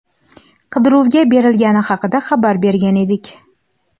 qidiruvga berilgani haqida xabar bergan edik.